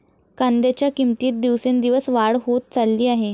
कांद्याच्या किंमतीत दिवसेंदिवस वाढ होत चालली आहे.